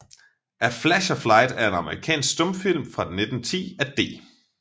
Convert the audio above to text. A Flash of Light er en amerikansk stumfilm fra 1910 af D